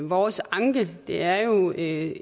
vores anke er jo ikke